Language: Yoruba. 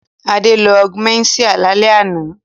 Adé lo Augumentin lálẹ́ àná.